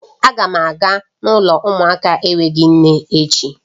Aga m aga n'ụlọ umuaka n'enweghi nne echi